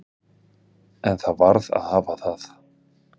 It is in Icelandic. En það varð að hafa það.